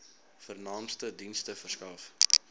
vernaamste dienste verskaf